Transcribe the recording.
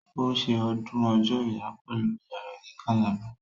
Ó ṣe ọdún ọjọ́ ìyá pẹ̀lú ìyá rẹ ní Calabar